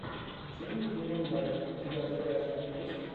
джимми киммел лайв у тебя в загашнике есть